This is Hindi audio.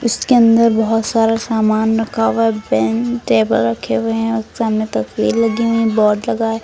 इसके अंदर बहुत सारा सामान रखा हुआ है पेन टेबल रखे हुए हैं और सामने तस्वीर लगी हुई हैं बोर्ड लगा है।